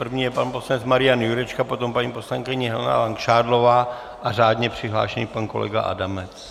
První je pan poslanec Marian Jurečka, potom paní poslankyně Helena Langšádlová a řádně přihlášený pan kolega Adamec.